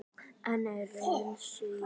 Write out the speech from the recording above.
En er raunin sú?